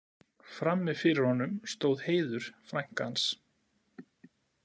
Frammi fyrir honum stóð Heiður, frænka hans.